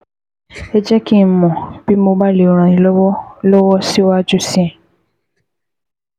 Ẹ jẹ́ kí n mọ̀ bí mo bá lè ràn yín lọ́wọ́ lọ́wọ́ síwájú sí i